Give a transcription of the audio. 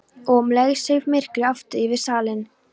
Og um leið seig myrkrið aftur yfir salinn.